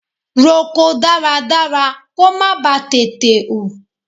Roko dáradára kó má ba tètè hù.